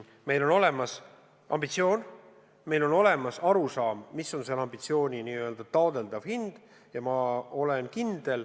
Meil on olemas ambitsioon, meil on olemas arusaam, mis on selle ambitsiooni arvatav hind.